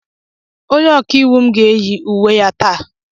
Onye ọka iwu m ga-eyi uwe ya taa.